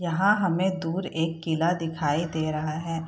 यहाँ हमें दूर एक किला दिखाई दे रहा है।